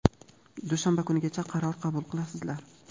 dushanba kunigacha qaror qabul qilasizlar.